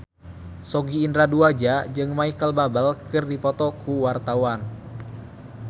Sogi Indra Duaja jeung Micheal Bubble keur dipoto ku wartawan